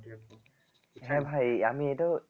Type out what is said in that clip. হ্যাঁ ভাই আমি এটাও